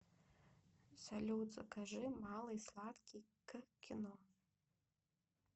салют закажи малый сладкий к кино